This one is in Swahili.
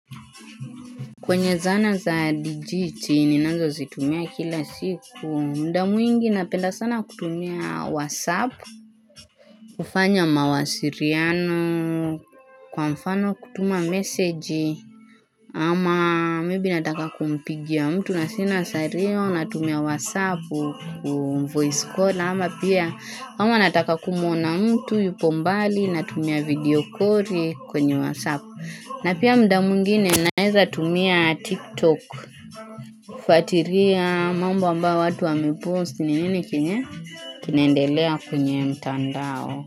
Kwenye zana za digiti ninanzo zitumia kila siku muda mwingi napenda sana kutumia whatsapp kufanya mawasiliano kwa mfano kutuma message ama maybe nataka kumpigia mtu nasina sario natumia whatsapp voice call ama pia ama nataka kumuona mtu yupo mbali natumia video koli kwenye whatsapp na pia muda mwingine naeza tumia tik tok kufuatilia mambo ambayo watu wa mepost ni nini kinaendelea kwenye mtandao.